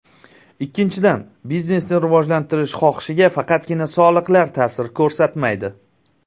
Ikkinchidan, biznesni rivojlantirish xohishiga faqatgina soliqlar ta’sir ko‘rsatmaydi.